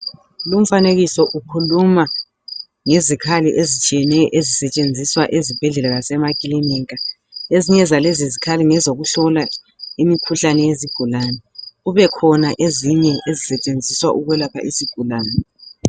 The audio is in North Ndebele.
Lumfanekiso ukhuluma ngezikhali ezitshiyeneyo ezisetshenziswa ezibhedlela lasemakilinika .Ezinye zalezi zikhali ngezokuhlola imikhuhlane yezigulane kubekhona ezisetshenziswa ukwelapha izigulane